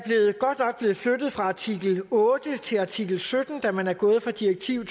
blevet flyttet fra artikel otte til artikel sytten da man er gået fra direktiv